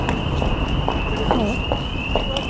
kropp